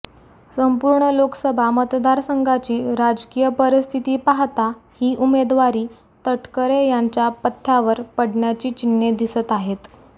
संपूर्ण लोकसभा मतदारसंघाची राजकीय परिस्थिती पाहता ही उमेदवारी तटकरे यांच्या पथ्यावर पडण्याची चिन्हे दिसत आहेत